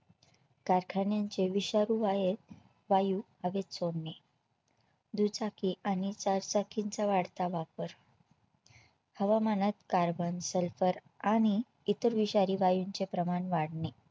कारखान्यांचे विषारी वाये वायू हवेत सोडणे दुचाकी आणि चारचाकिंचा वाढता वापर हवामानात carbon sulphur आणि इतर विषारी वायूंचे प्रमाण वाढणे